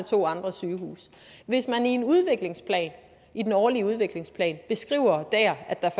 to andre sygehuse hvis man i en udviklingsplan i den årlige udviklingsplan beskriver der at der